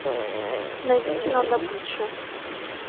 найди кино добыча